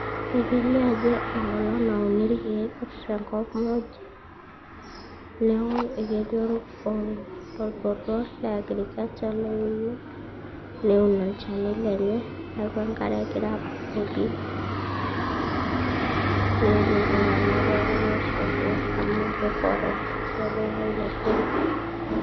Ekelio ajo enkolong nauni ilkeek tenkop muj. Neaku ketii olbotor le agriculture oewu neun olchani lenye. Neaku enkare egira abukoki mewuonuni iltung'ana pooki ai shuhudia amu forest egira aunie ilkeek.